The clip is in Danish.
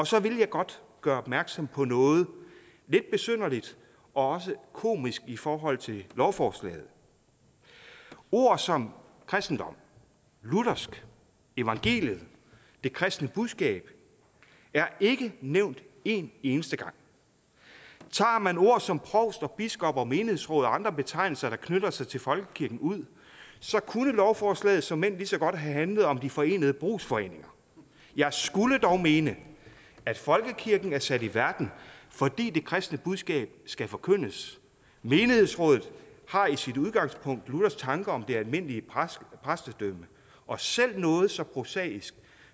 så vil jeg godt gøre opmærksom på noget lidt besynderligt og også komisk i forhold til lovforslaget ord som kristendom luthersk evangeliet det kristne budskab er ikke nævnt en eneste gang tager man ord som provst og biskop og menighedsråd og andre betegnelser der knytter sig til folkekirken ud så kunne lovforslaget såmænd lige så godt have handlet om de forenede brugsforeninger jeg skulle dog mene at folkekirken er sat i verden fordi det kristne budskab skal forkyndes menighedsrådet har i sit udgangspunkt luthers tanker om det almindelige præstedømme og selv noget så prosaisk